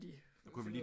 De